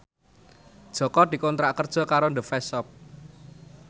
Jaka dikontrak kerja karo The Face Shop